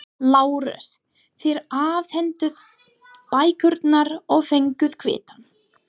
LÁRUS: Þér afhentuð bækurnar og fenguð kvittun.